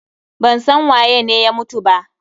Ban san waye ne ya mutu ba.